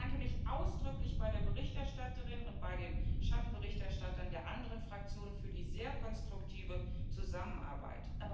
Ich bedanke mich ausdrücklich bei der Berichterstatterin und bei den Schattenberichterstattern der anderen Fraktionen für die sehr konstruktive Zusammenarbeit.